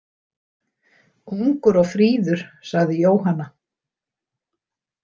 Ungur og fríður, sagði Jóhanna.